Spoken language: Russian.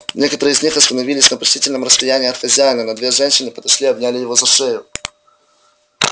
некоторые из них остановились на почтительном расстоянии от хозяина но две женщины подошли и обняли его за шею